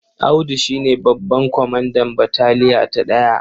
Audu shi ne babban kwamandan bataliya ta ɗaya.